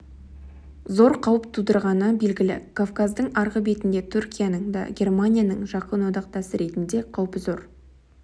зор қауіп тудырғаны белгілі кавказдың арғы бетінде түркияның да германияның жақын одақтасы ретінде қаупі зор